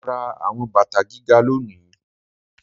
Mo ra àwọn bàtà gíga lónìí